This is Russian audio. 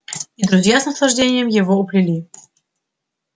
и друзья с наслаждением его уплели